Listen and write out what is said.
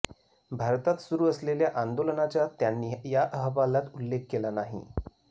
भारतात सुरू असलेल्या आंदोलनाचा त्यांनी या अहवालात उल्लेख केला नाही